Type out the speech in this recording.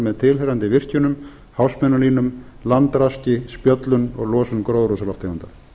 með tilheyrandi virkjunum háspennulínum landraski spjöllum og losun gróðurhúsalofttegunda